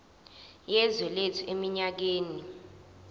yezwe lethu eminyakeni